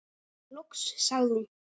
Loks sagði hún